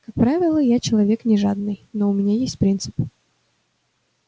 как правило я человек не жадный но у меня есть принцип